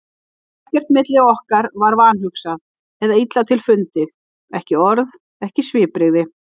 Ekkert milli okkar var vanhugsað eða illa til fundið, ekki orð, ekki svipbrigði.